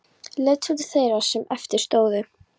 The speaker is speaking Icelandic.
Leit svo til þeirra sem eftir stóðu.